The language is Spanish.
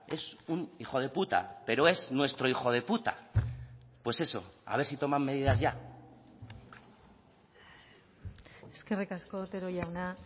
es un hijo de puta pero es nuestro hijo de puta pues eso a ver si toman medidas ya eskerrik asko otero jauna